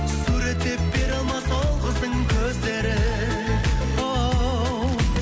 суреттеп бере алмас ол қыздың көздерін оу